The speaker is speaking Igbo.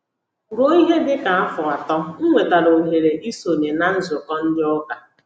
Ruo ihe dị ka afọ atọ,m nwetara ohere isonye na nzukọ ndị ụka